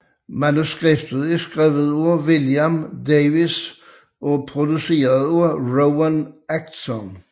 Manuskriptet er skrevet af William Davies og produceret af Rowan Atkinson